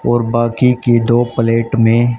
और बाकी की दो प्लेट में--